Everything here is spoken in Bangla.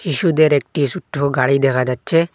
শিশুদের একটি ছোট্ট গাড়ি দেখা যাচ্ছে।